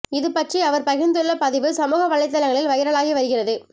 இது பற்றி அவர் பகிர்ந்துள்ள பதிவு சமுக வலைத்தளங்களில் வைரலாகி வருகிறது